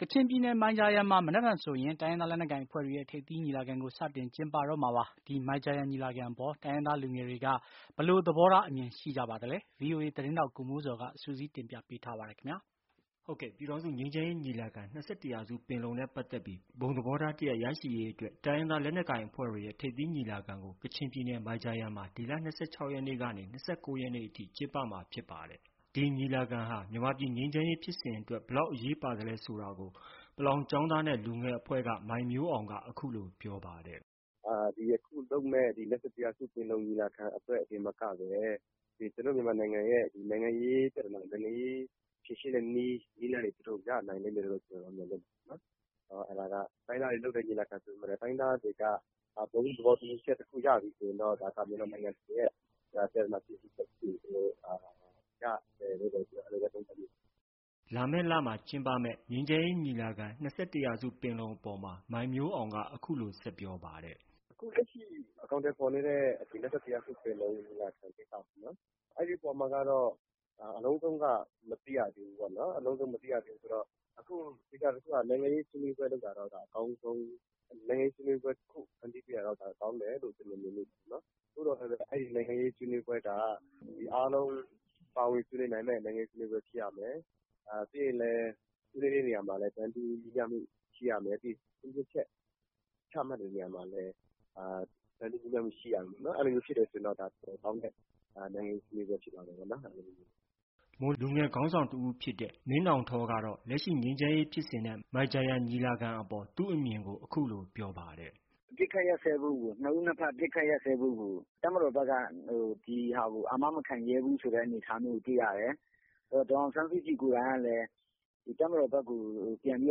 ကချင်ပြည်နယ် မိုင်ဂျာယန်မှာ မနက်ဖြန်ဆိုရင် တိုင်းရင်းသားလက်ကိုင်အဖွဲ့တွေရဲ့ ထိပ်သီးညီလာခံကို စတင်ကျင်းပတော့မှာဖြစ်ပါတယ်။ ဒီမိုင်ဂျာယန်ညီလာခံအပေါ် တိုင်းရင်းသားလူငယ်တွေက ဘယ်လို အမြင်ရှိကြသလဲဆိုတာကို ဗွီအိုအေသတင်းထောက် ကိုမိုးဇော်က စုစည်းတင်ပြထားပါတယ်။ ပြည်ထောင်စုငြိမ်းချမ်းရေးညီလာခံ-၂၁ရာစုပင်လုံနဲ့ပတ်သက်ပြီး ဘုံသဘောထားတရပ်ရရှိရေးအတွက် တိုင်းရင်းသားလက်နက်ကိုင်အဖွဲ့တွေရဲ့ ထိပ်သီးညီလာခံကို ကချင်ပြည်နယ် မိုင်ဂျာယန်မှာ ဒီလ ၂၆ရက်ကနေ ၂၉ရက်အထိ ကျင်းပကြမှာဖြစ်ပါတယ်။ ဒီညီလာခံဟာ မြန်မာပြည်ငြိမ်းချမ်းရေးဖြစ်စဉ်အတွက် ဘယ်လောက်အရေးပါသလဲဆိုတာကို ပလောင်ကျောင်းသားနဲ့ လူငယ်များအဖွဲ့ မိုင်မျိုးအောင်က အခုလို ပြောပါတယ်။ “ဒီအခုလုပ်မယ့် ၂၁ ရာစုပင်လုံညီလာခံအတွက်သာမကပဲ ကျနော်တို့ မြန်မာနိုင်ငံရဲ့ နိုင်ငံရေးပြဿနာ ဖြေရှင်းတဲ့နည်းလမ်းတွေ ရနိုင်လိမ့်မယ်လို့ ကျနော်တို့ မျှော်လင့်ပါတယ်။ တိုင်းရင်းသားတွေလုပ်တဲ့ညီလာခံဆိုပေမယ့်လည်း တိုင်းရင်းသားတွေက ဘုံသဘောတူညီချက်တခုရပြီဆိုရင်တော့ ဒါက ကျနော်တို့ မြန်မာနိုင်ငံတခုလုံးရဲ့ ပြဿနာ ဖြေရှင်းဖို့ကို ရတယ်လို့ ကျနော်တော့ အဲဒီလိုသုံးသပ်ပါတယ်။” လာမယ့် လမှာ ကျင်းပမယ့် ငြိမ်းချမ်းရေးညီလာခံ- ၂၁ရာစုပင်လုံအပေါ်မှာ မိုင်မျိုးအောင်က အခုလို ဆက်ပြောပါတယ်။ “အခုလက်ရှိအကောက်အထည်ဖော်နေတဲ့ ၂၁ရာစုပင်လုံညီလာခံ ကိစ္စပေါ့နော်။ အဲဒီအပေါ်မှာကတော့ အလုံးစုံတော့မသိရသေးဘူးပေါ့နော်။ အလုံးစုံ မသိရသေးဘူးဆိုပေမယ့် သေချာတာတခုက နိုင်ငံရေးဆွေးနွေးပွဲလုပ်တာတော့အကောင်းဆုံး ၊ နိုင်ငံရေးဆွေးနွေးပွဲ တခု ဖန်တီးပေးတာတော့ ကောင်းတယ်လို့ ကျနော်မြင်မိပါတယ်။ သို့သော်လည်း အဲဒီ နိုင်ငံရေးဆွေးနွေးပွဲက အားလုံးပါဝင်ဆွေးနွေးနိုင်မယ့် နိုင်ငံရေးဆွေးနွေးပွဲဖြစ်ရမယ်။ ပြီးရင်လည်း ဆွေးနွေးတဲ့နေရာမှာ တန်းတူညီမျှမူရှိရမယ်။ ပြီးရင်အထူးသဖြင့် ချမှတ်တဲ့နေရာမှာလည်း တန်းတူညီမျှမှုရှိရမယ် ။ အဲဒီလိုဖြစ်တယ်ဆိုရင်တော့ ဒါတော်တော်ကောင်းတဲ့ နိုင်ငံရေးဆွေးနွေးပွဲမျိုးဖြစ်သွားမှာပေါ့နော် ။” မွန်လူငယ်ခေါင်းဆောင်တဦးဖြစ်တဲ့ မင်းနှောင်ထောကတော့ လက်ရှိငြိမ်းချမ်းရေးဖြစ်စဉ်နဲ့ မိုင်ဂျာယန်ညီလာခံအပေါ် သူ့အမြင်ကို အခုလို ပြောပါတယ်။ “ နှစ်ဦး နှစ်ဘက် အပစ်အခတ်ရပ်စဲဖို့ကို တပ်မတော်ဘက်က ဒီဟာကို အာမ မခံရဲဘူးဆိုတဲ့ အနေအထားမျိုးကိုတွေ့ရတယ်။ နောက် ဒေါ်အောင်ဆန်းစုကြည်ကိုယ်တိုင်ကလည်း တပ်မတော်ဘက်ကို ပြန်ပြီး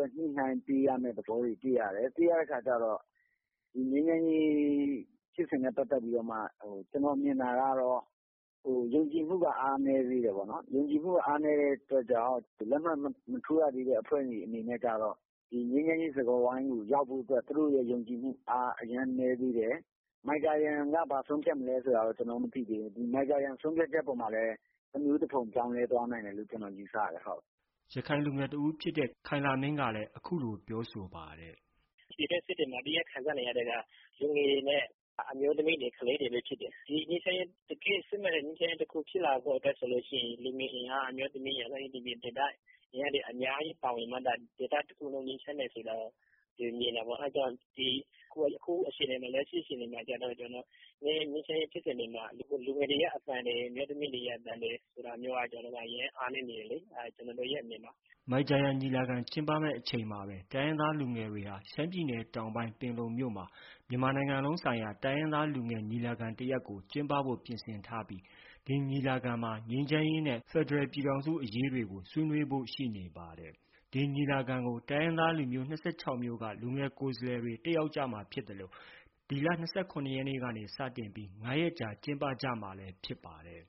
တော့ ညှိနှိုင်းပေးရတဲ့သဘောတွေတွေ့ရတယ်။ တွေ့ရတဲ့အခါကျတော့ ဒီငြိမ်းချမ်းရေးဖြစ်စဉ်နဲ့ ပတ်သက်ပြီးတော့မှ ကျနော်မြင်တာကတော့ ယုံကြည်မှုက အားနည်းသေးတယ်ပေါ့နော်။ ယုံကြည်မှုက အားနည်းတဲ့အတွက်ကြောင့် လက်မှတ်မထိုးရသေးတဲ့အဖွဲ့တွေအနေနဲ့ကျတော့ ဒီငြိမ်းချမ်းရေးစကားဝိုင်းကို ရောက်ဖို့အတွက် သူတို့ ယုံကြည်မှုအား အရမ်းနည်းသေးတယ်။ မိုင်ဂျာယန်က ဘာဆုံးဖြတ်မလဲဆိုတာ ကျနော်တို့ မသိသေးဘူး။ ဒီမိုင်ဂျာယန် ဆုံးဖြတ်ချက်အပေါ်မှာလည်း တမျိုးတဖုံ ပြောင်းလဲသွားနိုင်တယ်လို့ ကျနော်ယူဆတယ်။” ရခိုင်လူငယ်တဦးဖြစ်တဲ့ ခိုင်လမင်းကတော့ အခုလို ပြောဆိုပါတယ်။ “ပြည်တွင်းစစ်တွေမှာ အဓိက ခံစားနေရာတာတွေက လူငယ်နဲ့ အမျိုးသမီးတွေ၊ ကလေးတွေပဲဖြစ်တယ်။ တကယ့်စစ်မှန်တဲ့ ငြိမ်းချမ်းရေးတခုဖြစ်လာဖို့ဆိုရင် လူငယ်အင်အား၊ အမျိုးသမီးတွေ နေရာဒေသအလိုက် အများကြီးပါဝင်မှသာ ဒေသတခုလုံး ငြိမ်းချမ်းမယ်ဆိုတာ မြင်တယ်ပေါ့။ အဲဒါကြောင့် လက်ရှိအခြေအနေမှာ ငြိမ်းချမ်းရေးဖြစ်စဉ်တွေမှာ လူငယ်ရဲ့အသံတွေ၊ အမျိုးသမီးတွေအသံတွေ ဆိုတာမျိုးက အရမ်းအားနည်းနေသေးတယ်လေ။ အဲဒါ ကျနော်တို့ရဲ့အမြင်ပါ။” မိုင်ဂျာယန်ညီလာခံ ကျင်းပမယ့်အချိန်မှာပဲ တိုင်းရင်းသားလူငယ်တွေဟာ ရှမ်းပြည်နယ်တောင်ပိုင်း ပင်လုံမြို့မှာ နိုင်ငံလုံးဆိုင်ရာ တိုင်းရင်းသား လူငယ်ညီလာခံတရပ်ကို ကျင်းပဖို့ပြင်ဆင်ထားပြီး ဒီညီလာခံမှာ ငြိမ်းချမ်းရေးနဲ့ ဖက်ဒရယ်ပြည်ထောင်စုအရေးတွေကို ဆွေးနွေးဖို့ ရှိနေပါတယ်။ ဒီညီလာခံကို တိုင်းရင်းသား ၂၆မျိုးက လူငယ်ကိုယ်စားလှယ်ကို ဖိတ်ကြားထားသလို ဒီလ ၂၇ရက်နေ့ကနေ ၅ရက်ကြာကျင်းပမှာဖြစ်ပါတယ်။